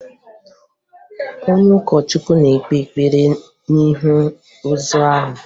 Onye ụkọchukwu na-ekpe ekpere n'ihu ozu ahụ